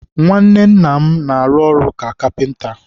nwanne nna m na-arụ ọrụ ka kapịnta.